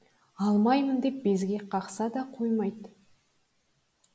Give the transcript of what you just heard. алмаймын деп безек қақса да қоймады